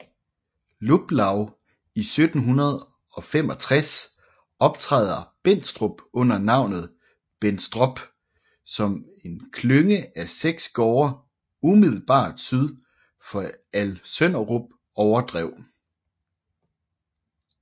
Luplau i 1765 optræder Bendstrup under navnet Benstrop som en klynge af 6 gårde umiddelbart syd for Alsønderup Overdrev